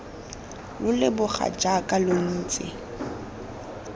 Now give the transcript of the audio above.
lo leboga jaaka lo ntse